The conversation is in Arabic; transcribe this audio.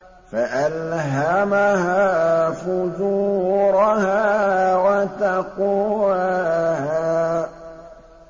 فَأَلْهَمَهَا فُجُورَهَا وَتَقْوَاهَا